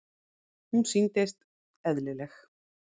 Hún sýndist: eðlileg.